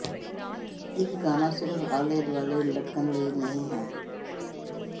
ਇੱਕ ਗਾਣਾ ਸਿਰਫ਼ ਆਲੇ ਦੁਆਲੇ ਲਟਕਣ ਲਈ ਨਹੀਂ ਹੈ